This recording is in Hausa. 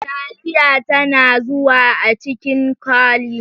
Taliya tana zuwa a cikin kwali.